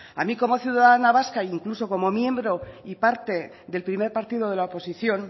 a mí como ciudadana vasca incluso como miembro y parte del primer partido de la oposición